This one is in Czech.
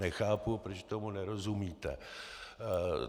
Nechápu, proč tomu nerozumíte.